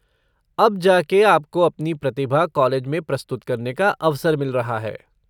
अब जा के आपको अपनी प्रतिभा कॉलेज में प्रस्तुत करने का अवसर मिल रहा है।